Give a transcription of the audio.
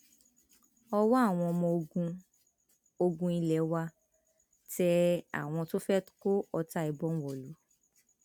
ọwọ àwọn ọmọ ogun ogun ilé wa tẹ àwọn tó fẹ kó ọta ìbọn wọlú